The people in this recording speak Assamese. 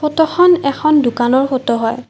ফটোখন এখন দোকানৰ ফটো হয়।